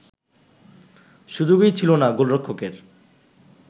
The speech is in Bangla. সুযোগই ছিল না গোলরক্ষকের